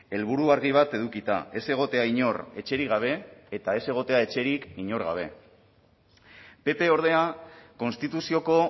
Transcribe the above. helburu argi bat edukita ez egotea inor etxerik gabe eta ez egotea etxerik inor gabe pp ordea konstituzioko